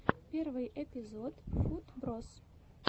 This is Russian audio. первый эпизод футброз